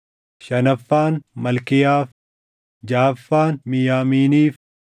shanaffaan Malkiyaaf, jaʼaffaan Miyaamiiniif,